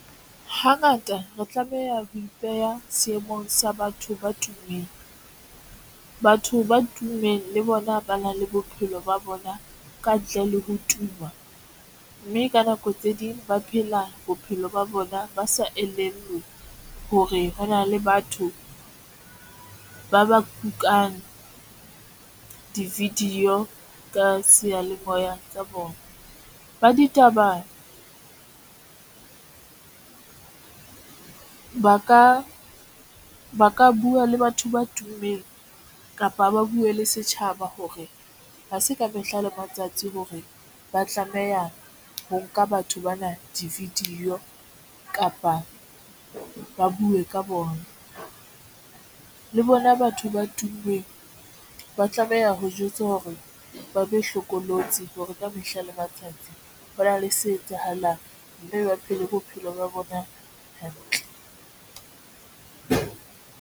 Hangata re tlameha ho ipeha seemong sa batho ba tummeng. Batho ba tummeng le bona ba na le bophelo ba bona ka ntle le ho tuma mme ka nako tse ding ba phela bophelo ba bona. Ba sa elellwe hore hona le batho ba ba kukang di-video ka seyalemoya tsa bona. Ba ditaba ba ka ba ka buwa le batho ba tummeng kapa ba buwe le setjhaba hore ha se ka mehla le matsatsi hore ba tlameha ho nka batho bana di-video kapa ba buwe ka bona le bona. Batho ba tummeng ba tlameha ho jwetsa hore ba be hlokolosi hore ka mehla le matsatsi hona le se etsahalang mme ba phele bophelo ba bona hantle.